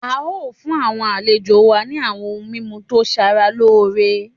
A o fun awọn alejo wa ni awọn oun mimu to sara loore